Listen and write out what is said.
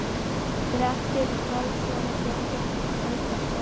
Grettir Pálsson og Jósep Helgason.